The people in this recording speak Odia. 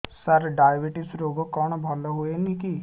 ସାର ଡାଏବେଟିସ ରୋଗ କଣ ଭଲ ହୁଏନି କି